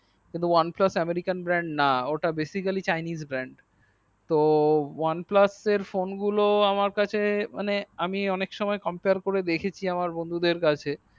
কিন্তু oneplus american brand না ওটা basically chaines brand তো oneplus এর ফোন গুলো আমার বন্ধুদের কাছে